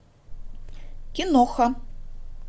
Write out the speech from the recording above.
киноха